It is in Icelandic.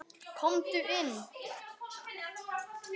Komdu inn.